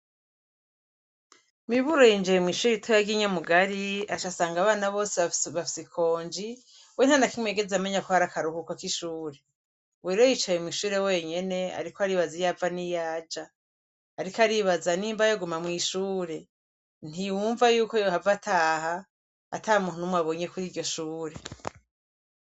Miburoyinjeye mw'ishure itoyarginyamugari ashasanga abana bose abafisikonji we na na kimwe yigeze amenya kohari akaruhuko k'ishure weroyicaye mw'ishure wenyene, ariko aribaza iyava n'iyaja, ariko aribaza n'imba yoguma mw'ishure ntiyumva yuko yohava ataha atamua numwabonye kuri iryo shubure.